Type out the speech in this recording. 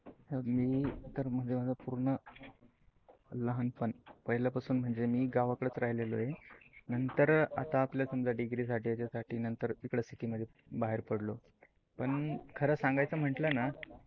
हे बघ मी तर माझ पूर्ण लहानपण पहिले पासुन म्हणजे मी गावाकडच राहलो. नंतर आता आपल्या समजा डीग्रीसाठी याच्यासाठी इकडे सीटी मध्ये बाहेर पडलो. पण खर सांगायचं म्हटल न